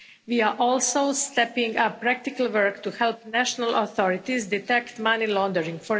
We are also stepping up practical work to help national authorities detect money laundering.